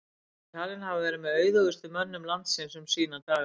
hann er talinn hafa verið með auðugustu mönnum landsins um sína daga